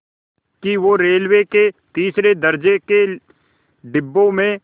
कि वो रेलवे के तीसरे दर्ज़े के डिब्बे में